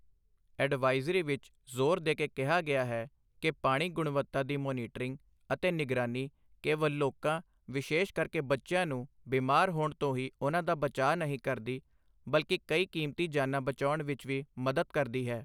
Advisory ਵਿੱਚ ਜ਼ੋਰ ਦੇ ਕੇ ਕਿਹਾ ਗਿਆ ਹੈ ਕਿ ਪਾਣੀ ਗੁਣਵਤਾ ਦੀ ਮੋਨੀਟਰਿੰਗ ਅਤੇ ਨਿਗਰਾਨੀ ਕੇਵਲ ਲੋਕਾਂ ਵਿਸੇ਼ਸ਼ ਕਰਕੇ ਬੱਚਿਆਂ ਨੂੰ ਬਿਮਾਰ ਹੋਣ ਤੋਂ ਹੀ ਉਹਨਾਂ ਦਾ ਬਚਾਅ ਨਹੀਂ ਕਰਦੀ ਬਲਕਿ ਕਈ ਕੀਮਤੀ ਜਾਨਾਂ ਬਚਾਉਣ ਵਿੱਚ ਵੀ ਮਦਦ ਕਰਦੀ ਹੈ।